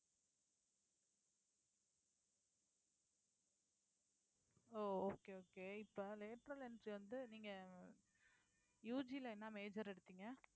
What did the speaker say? ஓ okay okay இப்போ lateral entry வந்து நீங்க UG ல என்ன major எடுத்தீங்க